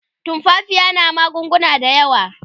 tumfafiya na magunguna da yawa